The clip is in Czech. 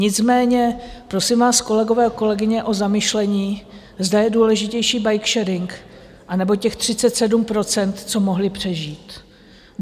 Nicméně prosím vás, kolegové a kolegyně, o zamyšlení, zda je důležitější bikesharing, anebo těch 37 %, co mohli přežít.